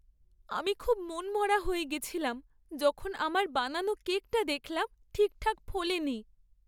আমি খুব মনমরা হয়ে গেছিলাম যখন আমার বানানো কেকটা দেখলাম ঠিকঠাক ফোলেনি।